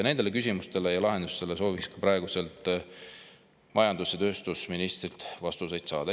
Nendele küsimustele ja lahenduste kohta soovikski praeguselt majandus‑ ja tööstusministrilt vastuseid saada.